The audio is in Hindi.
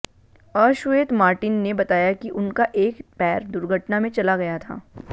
अश्वेत मार्टिन ने बताया कि उनका एक पैर दुर्घटना में चला गया था